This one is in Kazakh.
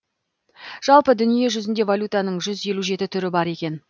жалпы дүниежүзінде валютаның жүз елу жеті түрі бар екен